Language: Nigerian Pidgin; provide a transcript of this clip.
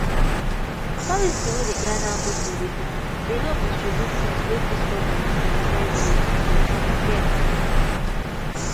policy wey dey guide how people dey born dey help distribute things wey fit stop belle for inside village and for townyou get